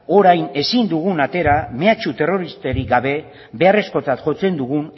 orain ezin dugun atera mehatxu terroristarik gabe beharrezkotzat jotzen dugun